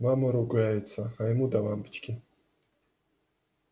мама ругается а ему до лампочки